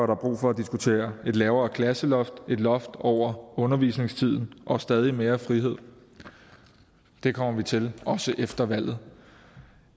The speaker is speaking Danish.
der brug for at diskutere et lavere klasseloft et loft over undervisningstiden og stadig mere frihed det kommer vi til også efter valget